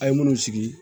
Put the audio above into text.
A' ye minnu sigi